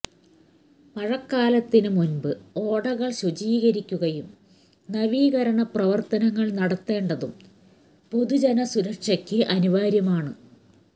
മഴക്കാലത്തിന് മുൻപ് ഓടകൾ ശുചീകരിക്കുകയും നവീകരണ പ്രവർത്തനങ്ങൾ നടത്തേണ്ടതും പൊതുജന സുരക്ഷയ്ക്ക് അനിവാര്യമാണ്